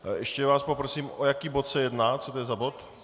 Ještě vás poprosím, o jaký bod se jedná, co to je za bod?